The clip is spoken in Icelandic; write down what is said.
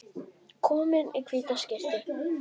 Komin í hvíta skyrtu.